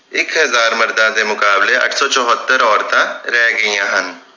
ਇਕ ਹਜਾਰ ਮਰਦਾਂ ਦੇ ਮੁਕਾਬਲੇ ਅੱਠ ਸੌ ਚੁਹਤਰ ਔਰਤਾਂ ਰਹਿ ਗਈਆਂ ਹਨ